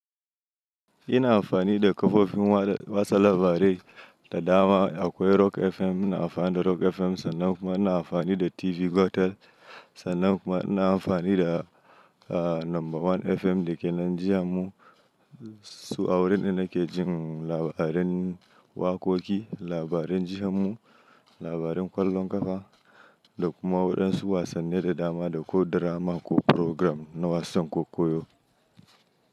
Ina amfani da kafofin wada wasa labarai da dama. Akwai Rock FM, ina amfani da Rock FM sannan kuma ina amfani da TV Gotel. Sannan kuma ina amfani da Number One FM da ke Najeriya mu. Su a wurin ina ke jin labaran waƙoƙi, labaran jihammu, labaran ƙwallon ƙafa da kuma waɗansu wasanni da dama da ko drama ko program na wasan kokoyo.